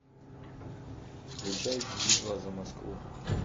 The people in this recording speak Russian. включай битва за москву